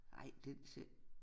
Ej den ser